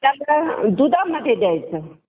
मग त्याला दुधामध्ये द्यायचं.